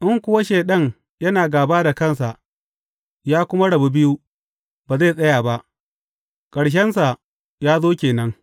In kuwa Shaiɗan yana gāba da kansa, ya kuma rabu biyu, ba zai tsaya ba, ƙarshensa ya zo ke nan.